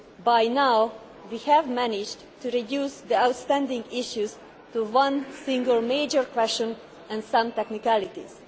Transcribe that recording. By now, we have managed to reduce the outstanding issues to one single major issue and some technicalities.